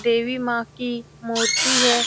देवी माँ की मूर्ति है।